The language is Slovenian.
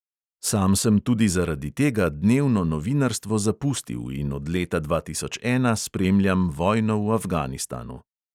Sam sem tudi zaradi tega dnevno novinarstvo zapustil in od leta dva tisoč ena spremljam vojno v afganistanu.